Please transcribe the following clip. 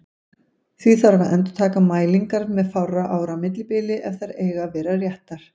Því þarf að endurtaka mælingar með fárra ára millibili ef þær eiga að vera réttar.